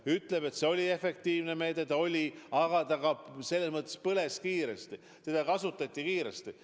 Ta ütleb, et see oli efektiivne meede, aga ta ka põles kiiresti, sest seda kasutati kiiresti.